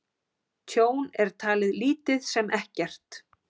Tjón er talið lítið sem ekkert